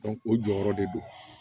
o jɔyɔrɔ de do